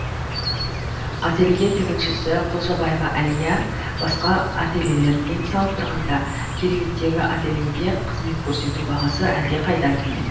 ателье тігіншісі құлжабаева алия басқа ательлелермен салыстырғанда кереметтегі ательеде қызмет көрсету бағасы әлдеқайда төмен